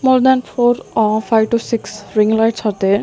more than four or five to six ring lights are there .